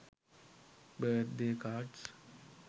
birthday cards